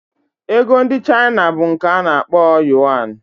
Ego ndị China bụ nke a kpọrọ Yọn